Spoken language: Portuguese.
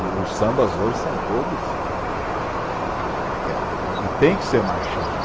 O os sambas hoje são todos, e e tem que ser marchinha.